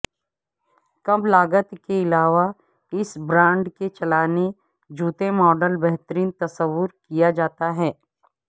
کم لاگت کے علاوہ اس برانڈ کے چلانے جوتے ماڈل بہترین تصور کیا جاتا ہے